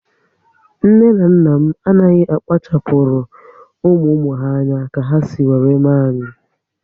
Nne na nna m anaghị akpachapuru ụmụ ụmụ ha anya ka ha si were mee anyị